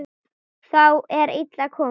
Þá er illa komið.